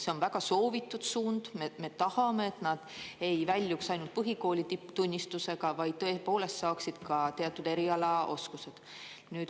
See on väga soovitud suund, me tahame, et nad ei väljuks ainult põhikooli tipptunnistusega, vaid tõepoolest saaksid ka teatud eriala oskused.